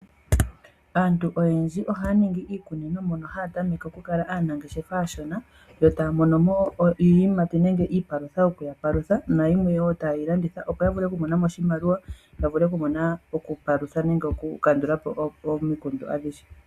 Aantu oyendji ohaya ningi iikunino. Ohaya tameke okukala aanangeshefa aashona yotaya monomo iiyimati nenge iipalutha yokuya palutha nayimwe wo taye yi landitha. Opo ya vule okumonamo oshimaliwa yavule okukandulapo omikundu adhihe.